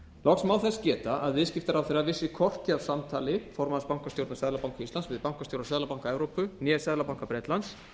loks má þess geta að viðskiptaráðherra vissi hvorki af samtali formanns bankastjórnar seðlabanka íslands við bankastjóra seðlabanka evrópu né seðlabanka bretlands